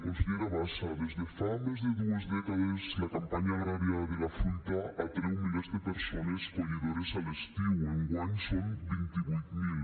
consellera bassa des de fa més de dues dècades la campanya agrària de la fruita atreu milers de persones collidores a l’estiu enguany són vint vuit mil